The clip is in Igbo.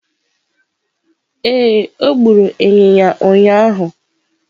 Ee, o gburu ịnyịnya ụnyahụ.